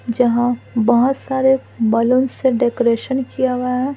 जहाँ बहुत सारे बलून से डेकोरेशन किया हुआ है।